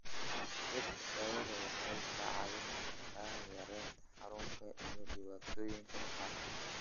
Dhirta daawada waxay ka caawin kartaa yareynta xanuunka iyo dhibaatooyinka maqaarka.